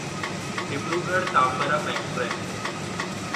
Dibrugarh Tambaram express